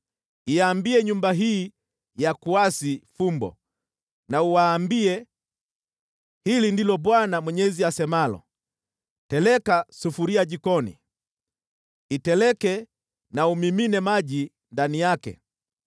Iambie nyumba hii ya kuasi fumbo, na uwaambie, ‘Hili ndilo Bwana Mwenyezi asemalo: “ ‘Teleka sufuria jikoni; iteleke na umimine maji ndani yake,